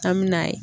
An mi na ye